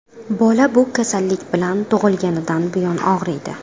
Bola bu kasallik bilan tug‘ilganidan buyon og‘riydi.